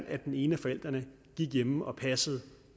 at den ene af forældrene gik hjemme og passede